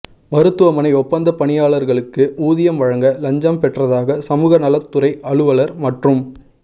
மருத்துவமனை ஒப்பந்த பணியாளர்களுக்கு ஊதியம் வழங்க லஞ்சம் பெற்றதாக சமூக நலத் துறை அலுவலர் மற்றும்